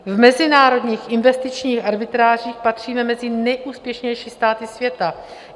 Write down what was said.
V mezinárodních investičních arbitrážích patříme mezi nejúspěšnější státy světa.